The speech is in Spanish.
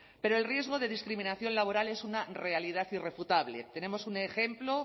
pero el riesgo de discriminación laboral es una realidad irrefutable tenemos un ejemplo